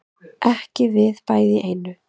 Ekki við bæði í einu